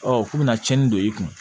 Ɔ k'u bɛna tiɲɛni don i kun